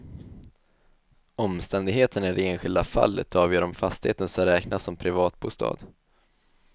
Omständigheterna i det enskilda fallet avgör om fastigheten ska räknas som privatbostad.